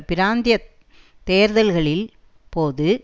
பிராந்திய தேர்தல்களில் போது